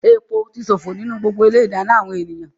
Epo ti ṣòfò nínú ilé-ìdáná gbogbo àwọn ènìyàn.